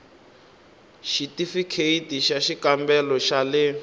xithifikheyiti xa xikambelo xa le